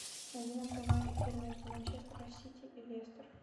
найди нам прямой эфир между манчестер сити и лестер